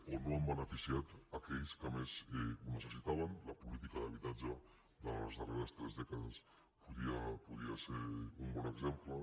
o no han beneficiat aquells que més ho necessitaven la política d’habitatge de les darreres tres dècades en podia ser un bon exemple